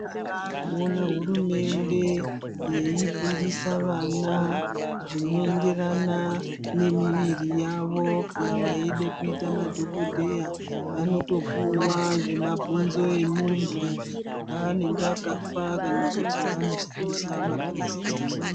Kwasara kuona hurumende yeifundisa vana zvinoenderana nemiviri yavo kana vaide kuita madhokodheya vanotopuwa zvemabhonzo emunhu anenge akafa kana kuti vanoshandisa mapurasitiki.